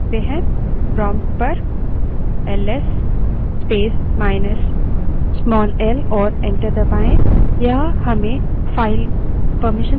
prompt पर ls space minus small l command type करें और enter दबायें